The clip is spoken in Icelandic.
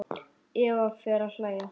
Eva fer að hlæja.